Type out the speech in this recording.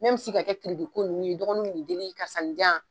Mɛmi si ka kɛ kiri ko ninnu ye dɔgɔnuw bi n'i deli karisa nin di yan